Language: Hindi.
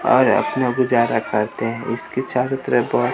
और अपनों की ज्यादा खाते हैं इसके चारों तरफ बहुत--